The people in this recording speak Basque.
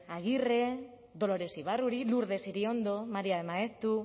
agirre dolores ibarruri lurdes iriondo maria de maeztu